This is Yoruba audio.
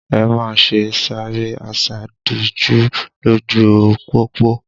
Ẹ má ṣe sáré àsádijú lójú u pópó!